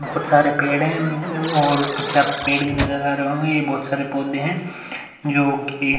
बहोत सारे पेड़ हैं और पीछे आपको पेड़ भी नजर आ रहे होंगे। ये बहोत सारे पौधे है जोकि --